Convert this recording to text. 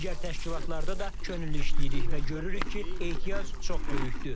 Digər təşkilatlarda da könüllü işləyirik və görürük ki, ehtiyac çox böyükdür.